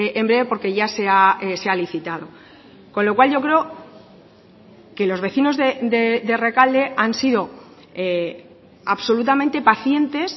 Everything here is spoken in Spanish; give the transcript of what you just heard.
en breve porque ya se ha licitado con lo cual yo creo que los vecinos de rekalde han sido absolutamente pacientes